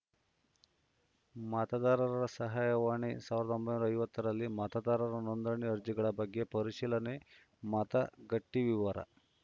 ಮತದಾರರ ಸಹಾಯವಾಣಿ ಸಾವಿರದ ಒಂಬೈನೂರ ಐವತ್ತ ರಲ್ಲಿ ಮತದಾರರ ನೋಂದಣಿ ಅರ್ಜಿಗಳ ಬಗ್ಗೆ ಪರಿಶೀಲನೆ ಮತಗಟ್ಟೆವಿವರ